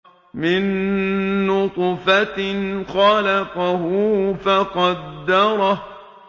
مِن نُّطْفَةٍ خَلَقَهُ فَقَدَّرَهُ